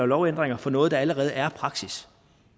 lovændringer for noget der allerede er praksis